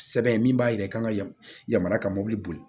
Sɛbɛn min b'a yira k'an ka yamaruya ka mobili boli